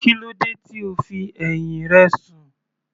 Kílódé tí o fi ẹ̀hìn rẹ sùn.